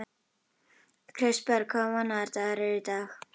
Kristberg, hvaða mánaðardagur er í dag?